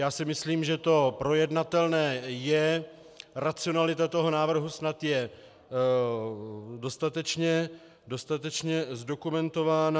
Já si myslím, že to projednatelné je, racionalita toho návrhu snad je dostatečně zdokumentována.